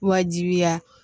Wajibiya